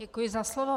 Děkuji za slovo.